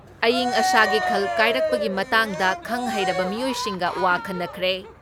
ꯏꯌꯤꯡ ꯑꯁꯥꯒꯤ ꯈꯜ ꯀꯥꯏꯔꯛꯄꯒꯤ ꯃꯇꯥꯡꯗ ꯈꯪ ꯍꯩꯔꯕ ꯃꯤꯑꯣꯏꯁꯤꯡꯒ ꯋꯥ ꯈꯟꯅꯈ꯭ꯔꯦ ꯫